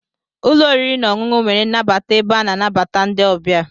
Ụlọ oriri na ọṅụṅụ nwere nnabata ebe a na-anabata ndị ọbịa.